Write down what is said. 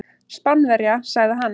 Spánverja, sagði hann.